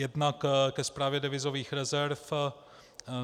Jednak ke správě devizových rezerv.